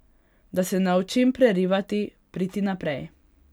Da se naučim prerivati, priti naprej.